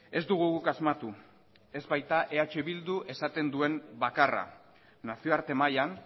ez dugu guk asmatu ez baita eh bilduk esaten duen bakarra nazioarte mailan